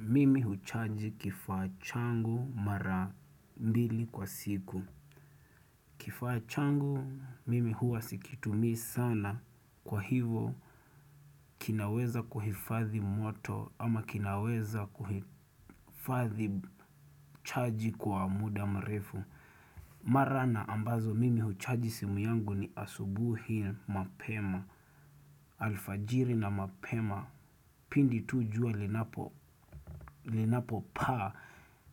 Mimi huchaji kifaa changu mara mbili kwa siku Kifaa changu mimi huwa sikitumii sana kwa hivo kinaweza kuhifadhi moto ama kinaweza kuhifadhi chaji kwa muda mrefu Mara na ambazo mimi huchaji simu yangu ni asubuhi mapema alfajiri na mapema pindi tu jua linapo linapo paa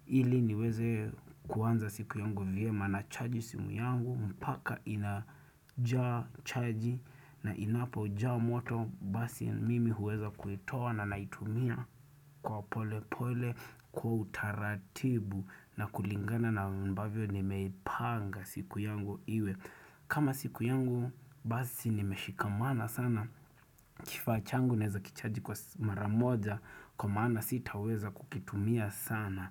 ili niweze kuanza siku yangu vyema nachaji simu yangu mpaka inajaa chaji na inapo jaa moto basi mimi huweza kuitoa na naitumia kwa pole pole kwa utaratibu na kulingana na ambavyo nimeipanga siku yangu iwe kama siku yangu basi nimeshikamana sana Kifaa changu naweza kichaji kwa mara moja Kwa maana sita weza kukitumia sana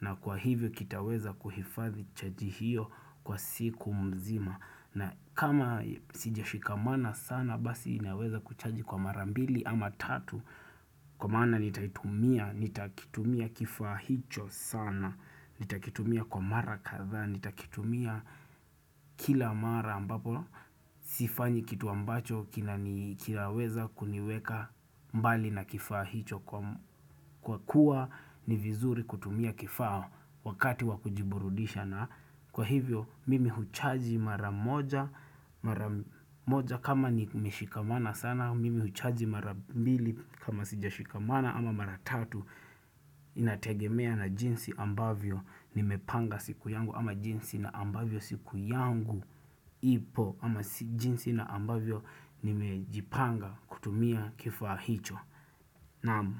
na kwa hivyo kitaweza kuhifadhi chaji hiyo kwa siku mzima na kama sijashikamana sana basi inaweza kuchaji kwa mara mbili ama tatu Kwa maana nitaitumia, nitakitumia kifaa hicho sana nitakitumia kwa mara kadhaa, nitakitumia kila mara ambapo Sifanyi kitu ambacho kina ni kilaweza kuniweka mbali na kifaa hicho kwa m Kwa kuwa ni vizuri kutumia kifaa wakati waku jiburudisha na kwa hivyo mimi huchaji mara moja mara moja kama ni meshikamana sana mimi huchaji mara mbili kama sija shikamana ama mara tatu inategemea na jinsi ambavyo nimepanga siku yangu ama jinsi na ambavyo siku yangu ipo ama jinsi na ambavyo nimejipanga kutumia kifaa hicho. Naam.